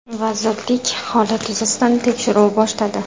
Vazirlik holat yuzasidan tekshiruv boshladi.